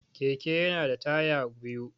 Keke yana da taya biyu.